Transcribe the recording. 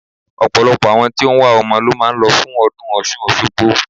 Ọ̀pọ̀lọpọ̀ àwọn tí ó wá ọmọ ló máa ń lọ fún ọdún Ọ̀ṣun Òṣogbo.